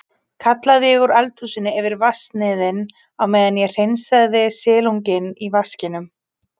kallaði ég úr eldhúsinu yfir vatnsniðinn á meðan ég hreinsaði silunginn í vaskinum.